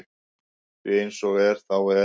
Því eins og er þá er